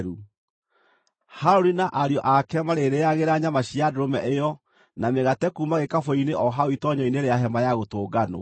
Harũni na ariũ ake marĩrĩagĩra nyama cia ndũrũme ĩyo na mĩgate kuuma gĩkabũ-inĩ o hau itoonyero-inĩ rĩa Hema-ya-Gũtũnganwo.